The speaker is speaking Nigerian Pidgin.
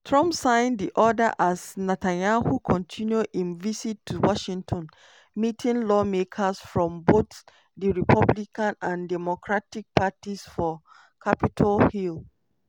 trump sign di order as netanyahu continue im visit to washington meeting lawmakers from both di republican and democratic parties for capitol hill.